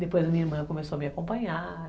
Depois a minha irmã começou a me acompanhar.